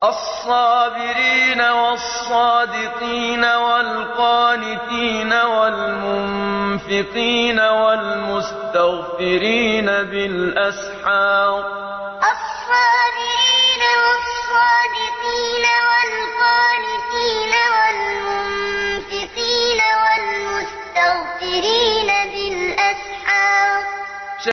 الصَّابِرِينَ وَالصَّادِقِينَ وَالْقَانِتِينَ وَالْمُنفِقِينَ وَالْمُسْتَغْفِرِينَ بِالْأَسْحَارِ الصَّابِرِينَ وَالصَّادِقِينَ وَالْقَانِتِينَ وَالْمُنفِقِينَ وَالْمُسْتَغْفِرِينَ بِالْأَسْحَارِ